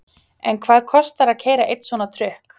En hvað kostar að keyra einn svona trukk?